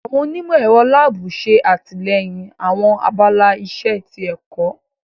Awọn onimọ-ẹrọ laabu ṣe atilẹyin awọn abala iṣe ti ẹkọ.